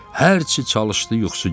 Hərçi çalışdı yuxusu gəlmədi.